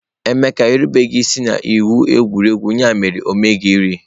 Emeka erubeghi isi n'iwu egwuregwu, ya mere o meriri.